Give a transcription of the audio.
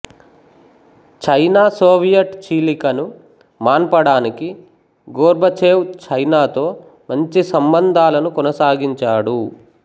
China Soviet చీలికను మాన్పడానికి Gorbachev చైనాతో మంచి సంబంధాలను కొనసాగించాడు